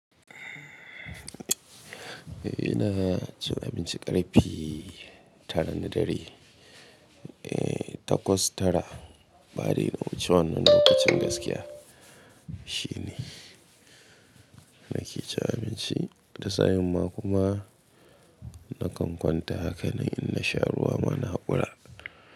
Eh ina cin abinci ƙarfe tara na dare, eh takwas tara bari in ce wannan lokacin gaskiya shine nake cin abinci da sa'umma kuma nakan kwanta haka na yi in na sha ruwa mana haƙora.